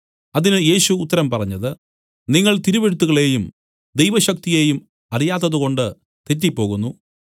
അതിന് യേശു ഉത്തരം പറഞ്ഞത് നിങ്ങൾ തിരുവെഴുത്തുകളെയും ദൈവശക്തിയെയും അറിയാത്തതുകൊണ്ട് തെറ്റിപ്പോകുന്നു